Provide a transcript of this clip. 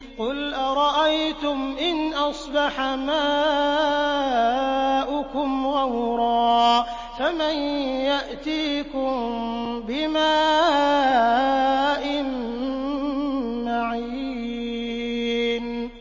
قُلْ أَرَأَيْتُمْ إِنْ أَصْبَحَ مَاؤُكُمْ غَوْرًا فَمَن يَأْتِيكُم بِمَاءٍ مَّعِينٍ